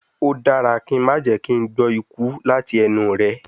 O dara ki n ma jẹ ki n gbọ iku lati ẹnu rẹ